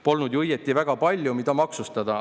Polnud ju õieti väga palju, mida maksustada.